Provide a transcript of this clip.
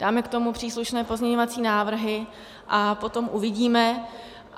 Dáme k tomu příslušné pozměňovací návrhy a potom uvidíme.